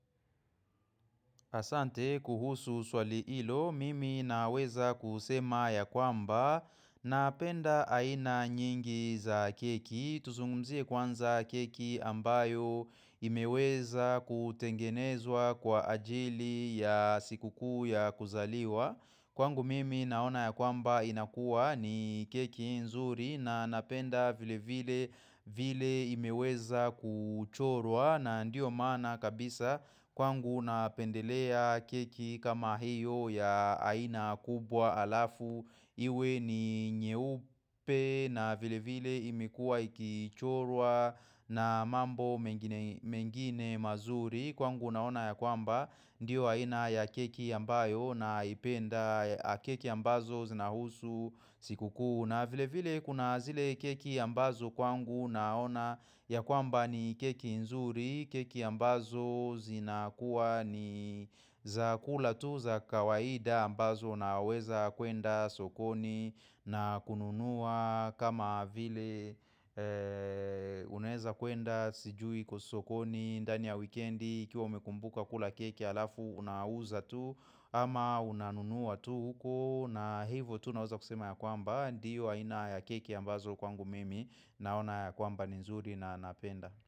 Asante kuhusu swali hilo, mimi naweza kusema ya kwamba napenda aina nyingi za keki. Tuzungumzie kwanza keki ambayo imeweza kutengenezwa kwa ajili ya sikuku ya kuzaliwa. Kwangu mimi naona ya kwamba inakua ni keki nzuri na napenda vile vile imeweza kuchorwa na ndiyo mana kabisa kwangu napendelea keki kama hiyo ya aina kubwa alafu. Iwe ni nyeupe na vile vile imekuwa ikichorwa na mambo mengine mazuri Kwangu naona ya kwamba ndiyo aina ya keki ambayo na ipenda. Keki ambazo zinahusu siku kuu Kuna vile vile kuna zile keki ambazo kwangu naona ya kwamba ni keki nzuri, keki ambazo zinakuwa ni. Zakula tu za kawaida ambazo naweza kwenda sokoni na kununua kama vile. Unaeza kwenda sijui kusokoni ndani ya weekendi kiuwa umekumbuka kula keki alafu unauza tu ama unanunua tu huko na hivyo tu naweza kusema ya kwamba Diwa ina ya keki ambazo kwangu mimi naona ya kwamba nzuri na napenda.